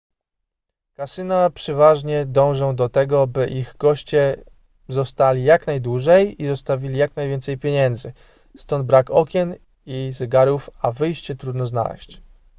kasyna przeważnie dążą do tego by ich goście zostali jak najdłużej i zostawili jak najwięcej pieniędzy stąd brak okien i zegarów a wyjście trudno znaleźć